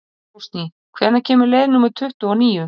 Rósný, hvenær kemur leið númer tuttugu og níu?